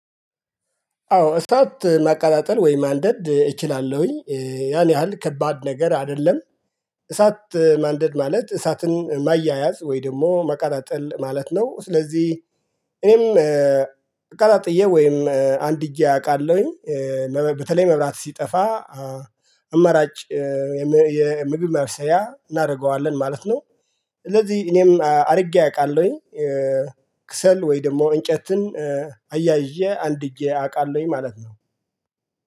አዎ እሳት ማቀጣጠል ወይ ማንደድ እችላለሁኝ። ያን ያህል ከባድ ነገር አይደለም። እሳት ማንደድ ማለት እሳትን ማያያዝ ወይ ደግሞ ማቀጣጠል ማለት ነው። ስለዚህ እኔም አቀጣጥዬ ወይም አንድጀ አውቃለሁኝ። በተለይ መብራት ሲጠፋ አማራጭ የምግብ ማብሰያ እናደርገዋለን ማለት ነው። ስለዚህ እኔም አድርጌ አውቃለሁኝ። ክሰል ወይ ደግሞ እንጨትን አያይዤ አንድጄ አውቃለሁኝ ማለት ነው።